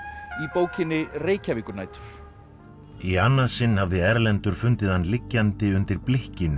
í bókinni Reykjavíkurnætur í annað sinn hafði Erlendur fundið hann liggjandi undir